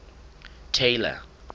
tailor